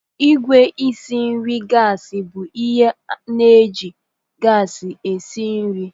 Igwe isi nri gasi bụ ihe na eji gasi esi nri.